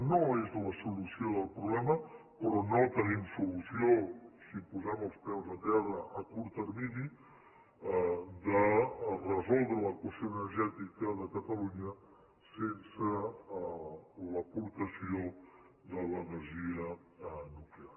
no és la solució del problema però no tenim solució si posem els peus a terra a curt termini de resoldre l’equació energètica de catalunya sense l’aportació de l’energia nuclear